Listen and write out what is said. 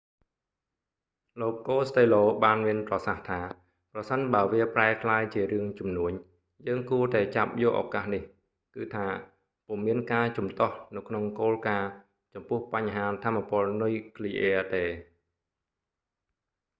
លោកកូស្តេឡូ costello បានមានប្រសាសន៍ថា ប្រសិនបើវាប្រែក្លាយជារឿងជំនួញ យើងគួរតែចាប់យកឱកាសនេះ គឺថា ពុំមានការជំទាស់នៅក្នុងគោលការណ៍ចំពោះបញ្ហាថាមពលនុយគ្លីអ៊ែរទេ